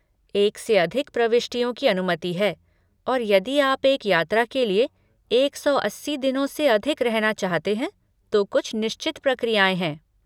एक से अधिक प्रविष्टियों की अनुमति है और यदि आप एक यात्रा के लिए एक सौ अस्सी दिनों से अधिक रहना चाहते हैं तो कुछ निश्चित प्रक्रियाएँ हैं।